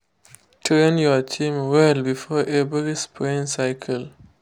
train your team well before every spraying cycle.